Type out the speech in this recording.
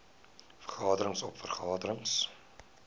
vergaderings oop vergaderings